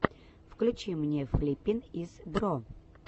включи мне флиппин из бро